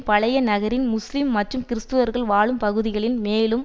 பழைய நகரின் முஸ்லிம் மற்றும் கிறிஸ்த்தவர் வாழும் பகுதிகளின் மேலும்